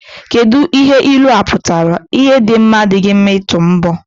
Kedụ ihe ilua pụtara? Ihu dị mma adịghị mma ịtụ mbọ.